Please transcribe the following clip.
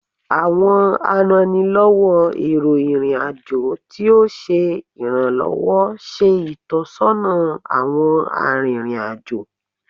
Awọn arannilọwọ ero irin ajo ti o ṣe iranlọwọ ṣe itọsọna awọn aririn ajo